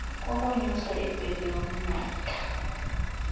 kokunyusa ibhegi yomnatha